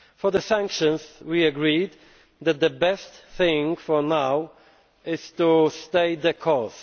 On the sanctions, we agreed that the best thing for now is to stay the course.